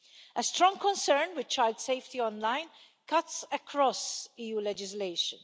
A strong concern with child safety online cuts across EU legislation.